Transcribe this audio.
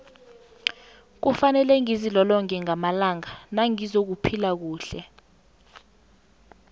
kufanele ngizilolonge ngamalanga nangizakuphila kuhle